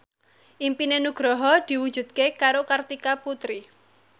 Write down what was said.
impine Nugroho diwujudke karo Kartika Putri